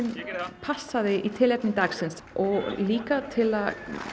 passa í tilefni dagsins og líka til að